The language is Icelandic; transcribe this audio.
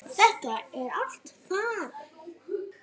Þetta er allt farið.